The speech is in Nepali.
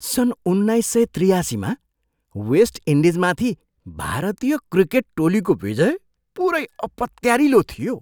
सन् उन्नाइस सय त्रियासीमा वेस्ट इन्डिजमाथि भारतीय क्रिकेट टोलीको विजय पुरै अपत्यारिलो थियो!